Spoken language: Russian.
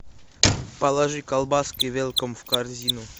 положи колбаски велком в корзину